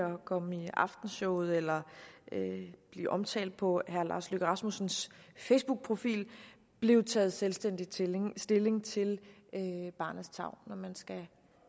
komme i aftenshowet eller blive omtalt på herre lars løkke rasmussens facebookprofil blev taget selvstændigt stilling stilling til barnets tarv når man skal